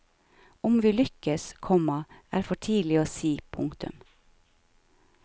Om vi lykkes, komma er for tidlig å si. punktum